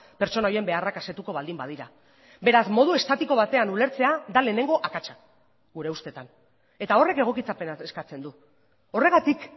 pertsona horien beharrak asetuko baldin badira beraz modu estatiko batean ulertzea da lehenengo akatsa gure ustetan eta horrek egokitzapena eskatzen du horregatik